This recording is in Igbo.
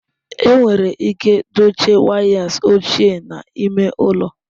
Enwere ike dochie wires ochie n'ime ụlọ?